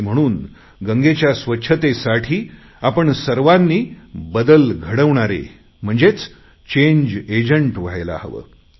आणि म्हणून गंगेच्या स्वच्छतेसाठी आपण सर्वांनी बदल घडवणारे चेंज एजंट व्हायला हवे